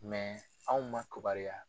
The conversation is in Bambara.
anw ma kubariya